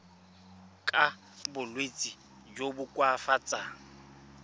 ka bolwetsi jo bo koafatsang